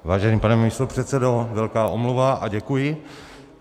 Vážený pane místopředsedo, velká omluva a děkuji.